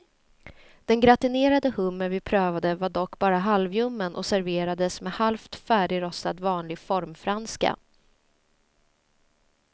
Den gratinerade hummer vi prövade var dock bara halvljummen och serverades med halvt färdigrostad vanlig formfranska.